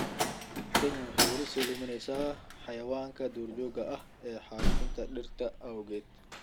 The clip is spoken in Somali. Kenya ayaa wali sii luminaysa xayawaanka duurjoogta ah ee xaalufinta dhirta awgeed.